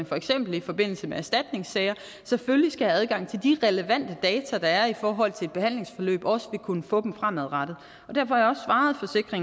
for eksempel i forbindelse med erstatningssager selvfølgelig skal have adgang til de relevante data der er i forhold til et behandlingsforløb også kunne få dem fremadrettet og derfor har